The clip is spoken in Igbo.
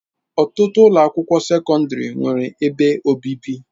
Ọtụtụ ụlọ akwụkwọ sekọndrị nwere ebe obibi.